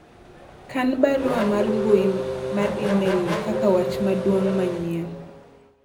kan barua mar mbui mar email no kaka wach maduong' manyien